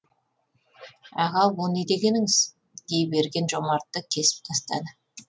аға о не дегеніңіз дей берген жомартты кесіп тастады